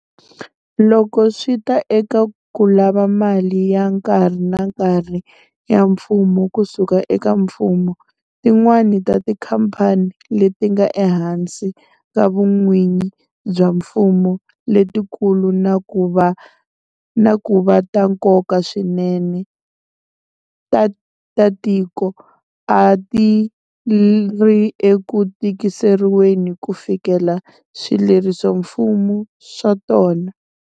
Loko swi ta eka ku lava mali ya nkarhi na nkarhi ya mpfuno kusuka eka mfumo, tin'wana ta tikhamphani leti nga ehansi ka vun'wini bya mfumo letikulu na ku va ta nkoka swinene ta tiko a ti ri eku tikiseriweni ku fikelela swilerisoximfumo swa tona.